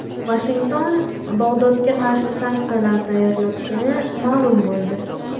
Vashington Bog‘dodga qarshi sanksiyalar tayyorlayotgani ma’lum bo‘ldi.